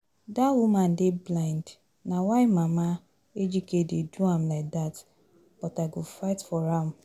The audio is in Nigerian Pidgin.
Dat woman dey blind na why mama Ejike dey do am like dat but I go fight for am